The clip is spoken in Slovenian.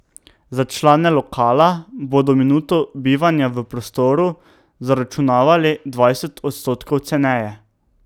Za člane lokala bodo minuto bivanja v prostoru zaračunavali dvajset odstotkov ceneje.